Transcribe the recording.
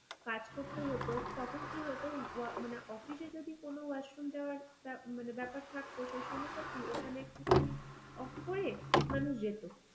কাজ করতে হতো তখন কি হতো ওয়া মানে অফিস এ যদি কোনো washroom যাওয়ার মানে ব্যাপার থাকতো সেইসময় তা কি ঐখানে off করে মানুষ যেত.